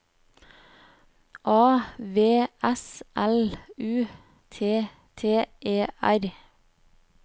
A V S L U T T E R